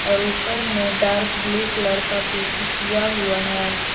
और ऊपर में डार्क ब्लू कलर का पुट्टी किया हुआ।